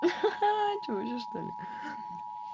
ха-ха что ли